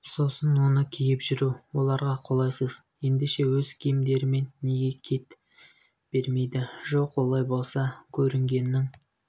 сосын оны киіп жүру оларға қолайсыз ендеше өз киімдерімен неге кет бермейді жоқ олай болса көрінгеннің